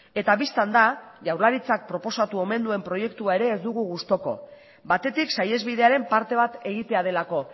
eta bistan da jaurlaritzak proposatu omen duen proiektua ere ez dugu gustoko batetik saihesbidearen parte bat egitea delako